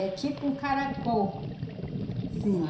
É tipo um caracol. Sim.